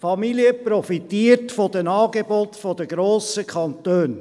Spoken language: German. Diese Familie profitiert von den Angeboten der grossen Kantone.